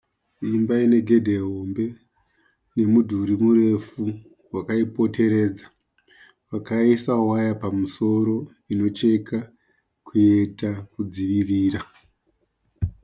Imba ine gedhe hombe nemudhuri murefu wakaipoteredza. Vakaisa waya pamusoro inocheka kuita kudzivirira.